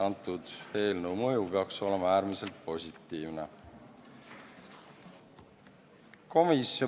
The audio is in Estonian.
Eelnõu mõju peaks olema äärmiselt positiivne.